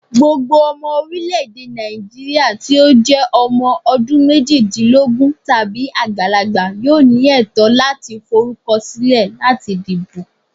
Gbogbo ọmọ orilẹ-ede Naijiria ti o jẹ ọmọ ọdunmejidinlogun tabi agbalagba yoo ni ẹtọ lati forukọsilẹ lati dibo.